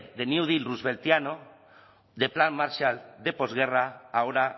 de del plan marshall de posguerra ahora